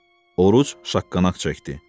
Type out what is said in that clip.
Oruc şaqqanaq çəkdi.